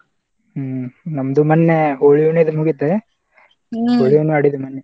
ಹ್ಮ್‌ ನಮ್ದು ಮೊನ್ನೆ ಹೋಳಿ ಹುಣ್ಣಿವಿ ಅದು ಮುಗಿತ .